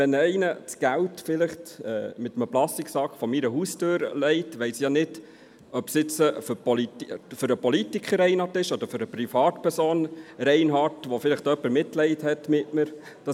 Wenn jemand Geld in einer Plastiktüte vor meine Haustüre legt, weiss ich nicht, ob es für den Politiker Reinhard oder für die Privatperson Reinhard bestimmt ist, weil vielleicht jemand Mitleid mit mir hat.